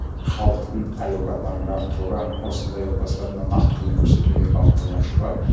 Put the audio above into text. халықтың әл ауқатын әрі қарай арттыруға осындай отбасыларына нақты көмек көрсетуге бағытталған жоба